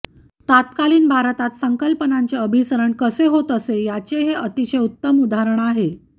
तत्कालीन भारतात संकल्पनांचे अभिसरण कसे होत असे याचे हे अतिशय उत्तम उदाहरण आहे